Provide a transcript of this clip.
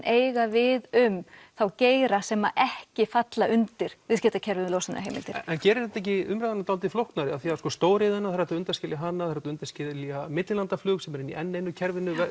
eiga við um þá geira sem ekki falla undir viðskiptakerfið um losunarheimildir en gerir þetta ekki umræðuna dálítið flóknari af því stóriðjan það er hægt að undanskilja hana það er hægt að undanskilja millilandaflug sem er inni í enn einu kerfinu